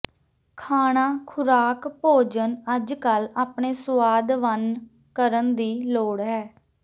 ਖਾਣਾ ਖੁਰਾਕ ਭੋਜਨ ਅੱਜਕੱਲ੍ਹ ਆਪਣੇ ਸੁਆਦ ਵੰਨ ਕਰਨ ਦੀ ਲੋੜ ਹੈ